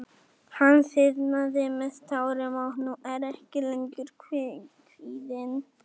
Hann þiðnaði með tárum og nú er ég ekki lengur kvíðinn.